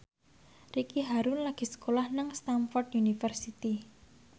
Ricky Harun lagi sekolah nang Stamford University